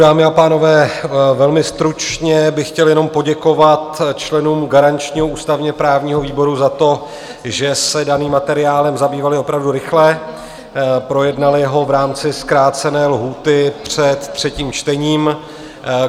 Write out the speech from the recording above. Dámy a pánové, velmi stručně bych chtěl jenom poděkovat členům garančního ústavně-právního výboru za to, že se daným materiálem zabývali opravdu rychle, projednali ho v rámci zkrácené lhůty před třetím čtením.